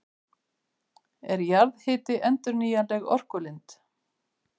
Er jarðhiti endurnýjanleg orkulind?